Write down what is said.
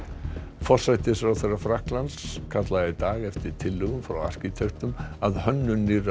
forsætisráðherra Frakklands kallaði í dag eftir tillögum frá arkitektum að hönnun nýrrar